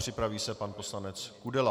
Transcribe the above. Připraví se pan poslanec Kudela.